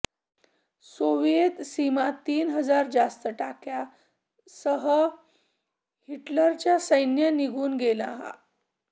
Soviet सीमा तीन हजार जास्त टाक्या सह हिटलर च्या सैन्य निघून गेला